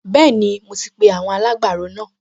Bẹ́ẹ̀ni, mo ti pe àwọn alágbàro náà